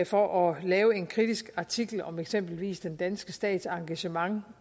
for at lave en kritisk artikel om eksempelvis den danske stats engagement